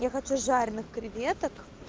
я хочу жареных креветок